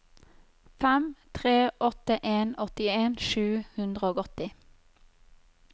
fem tre åtte en åttien sju hundre og åtti